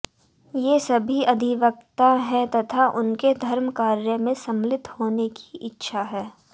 ये सभी अधिवक्ता हैं तथा उन्हें धर्मकार्य में सम्मिलित होने की इच्छा है